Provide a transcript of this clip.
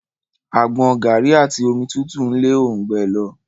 Àgbọn, garri àti omi tútù n le orungbẹ lọ.